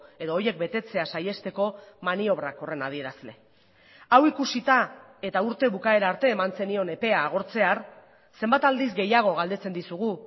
edo horiek betetzea saihesteko maniobrak horren adierazle hau ikusita eta urte bukaera arte eman zenion epea agortzear zenbat aldiz gehiago galdetzen dizugu